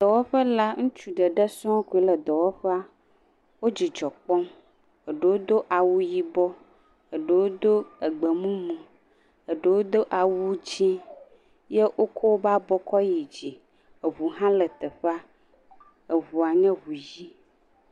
Dɔwɔƒe la, ŋutsu ɖeɖe sɔŋ koe le dɔwɔƒea. Wo dzidzɔ kpɔm. Eɖewo do awu yibɔ. Eɖewo do egbemumu, eɖewo do awu dzɛ̃. Ye wokɔ woƒe abɔ kɔ yi dzi. Eŋu hã le teʋea. Eŋua nye ŋu yi.